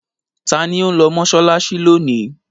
Ta ni ó ń lọ mọ́ṣáláṣí lónìí?